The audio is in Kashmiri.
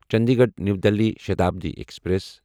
Chandigarh new Delhi Shatabdi express